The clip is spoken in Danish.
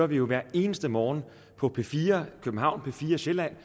vi hver eneste morgen på p4 københavn og p4 sjælland